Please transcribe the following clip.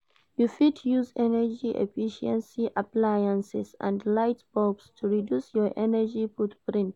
You fit use energy-efficiency appliances and light bulbs to reduce your energy footprint.